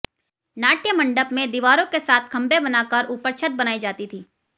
नाट्यमंडप में दीवारों के साथ खंभे बनाकर ऊपर छत बनाई जाती थी